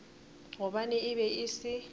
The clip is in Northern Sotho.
gobane e be e se